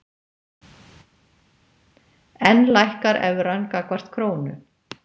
Enn lækkar evran gagnvart krónu